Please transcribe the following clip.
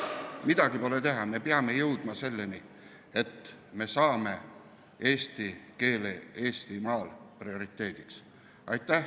Midagi pole teha, me peame jõudma selleni, et me saame eesti keele Eestimaal prioriteediks.